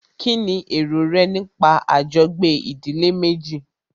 Kínní èrò rẹ nípa àjọgbé ìdílé méjì?